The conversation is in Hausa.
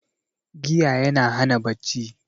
Giya yana hana bacci